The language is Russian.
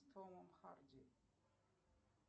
с томом харди